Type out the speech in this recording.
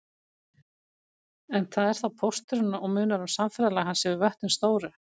En það er þá pósturinn og munar um samferðalag hans yfir vötnin stóru.